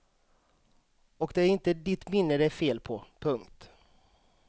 Och det är inte ditt minne det är fel på. punkt